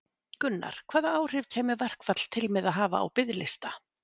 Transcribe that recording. Gunnar: Hvaða áhrif kæmi verkfall til með að hafa á biðlista?